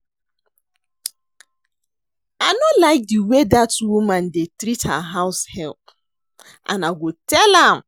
I no like the way dat woman dey treat her house help and I go tell am